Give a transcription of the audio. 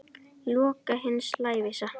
Loka hins lævísa.